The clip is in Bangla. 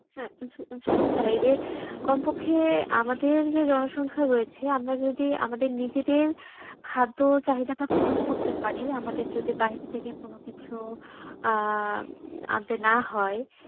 হ্যাঁ আসলে আসলে বাইরে কমপক্ষে আমাদের যে জনসংখ্যা রয়েছে আমরা যদি আমাদের নিজেদের খাদ্য চাহিদা টা পুরন করতে পারি আমাদের যদি বাহিরে থেকে কোনো কিছু আহ আনতে না হয়